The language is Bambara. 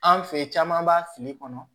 An fɛ yen caman b'a fili kɔnɔ